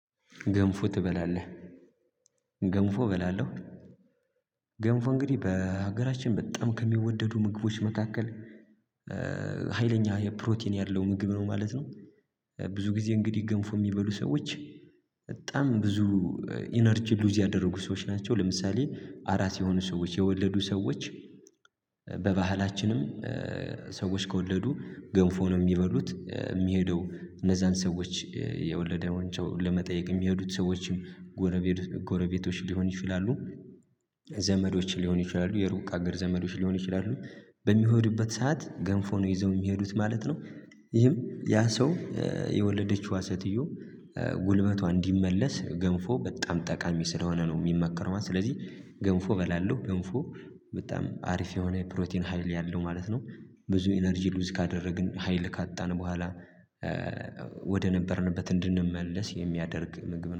ገንፎ ትበላለህ? ገንፎ እበላለሁ ገንፎ እንግዲህ በሀገራችን በጣም ከሚወደዱ ምግቦች መካከል ሀይለኛ የፕሮቲን ያለው ምግብ ነው ማለት ነው ብዙ ጊዜ እንግዲህ ገንፎ የሚበሉ ሰዎች በጣም ብዙ ኢነርጂ ሉዝ ያደረጉ ሰዎች ናቸው ለምሳሌ አራስ የሆኑ ሰዎች የወለዱ ሰዎች በባህላችንም ሰዎች ከወለዱ ገንፎ ነው ሚበሉት ሚሄደው እነዛን ሰዎች የወለደ ሰዉን ለመጠየቅ የሚሄዱት ሰዎችም ጎረቤቶች ሊሆኑ ይችላሉ ዘመዶች ሊሆኑ ይችላሉ የሩቅ ሀገር ዘመዶች ሊሆኑ ይችላሉ በሚሄዱበት ሰዓት ገንፎ ነው ይዘው የሚሄዱት ማለት ነው ይህም ያ ሰው የወለደችው ሰትዮ ጉልበቷ እንዲመለስ ገንፎ በጣም ጠቃሚ ስለሆነ ነው ሚመከረው ማለት ነው ስለዚህ ገንፎ እበላለሁ ገንፎ በጣም አሪፍ የሆነ ፕሮቲን ሀይል ያለው ማለት ነው ብዙ ኢነርጂ ሉዝ ካደረግን ሀይል ካጣን በኋላ ወደ ነበርንበት እንድንመለስ የሚያደርግ ምግብ ነው።